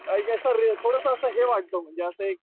असं अ रे थोडस असं हे वाटत म्हणजे एक